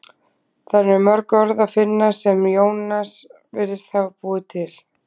þar er mörg orð að finna sem jónas virðist hafa búið til